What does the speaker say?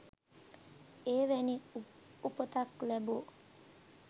එවැනි උපතක් ලැබූ